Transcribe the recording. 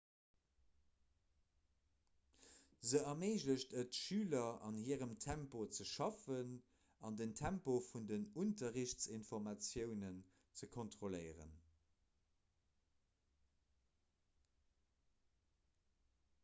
se erméiglecht et schüler an hirem tempo ze schaffen an den tempo vun den unterrichtsinformatiounen ze kontrolléieren